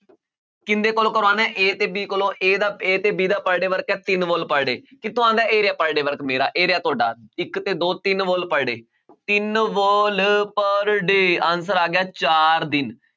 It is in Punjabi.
ਕਿੰਨ ਦੇ ਕੋਲੋਂ ਕਰਵਾਉਣਾ ਹੈ a ਤੇ b ਕੋਲੋਂ a ਦਾ a ਤੇ b ਦਾ per day work ਹੈ ਤਿੰਨ wall per day ਕਿੱਥੋਂ ਆਉਂਦਾ ਹੈ ਇਹ ਰਿਹਾ per day work ਮੇਰਾ ਇਹ ਰਿਹਾ ਤੁਹਾਡਾ ਇੱਕ ਤੇ ਦੋ ਤਿੰਨ wall per day ਤਿੰਨ wall per day answer ਆ ਗਿਆ ਚਾਰ ਦਿਨ